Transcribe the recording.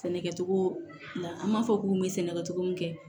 Sɛnɛkɛcogo la an b'a fɔ k'u bɛ sɛnɛkɛ cogo min kɛ